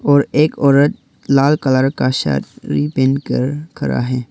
और एक औरत लाल कलर का साड़ी पहन कर खड़ा है।